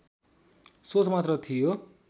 सोच मात्र थियो